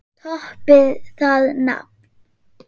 Toppið það nafn!